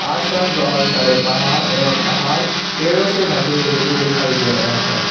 आस पास बहोत सारे पहाड़ एवं पहाड़ पेड़ों से ढके हुए भी दिखाई दे रहें है।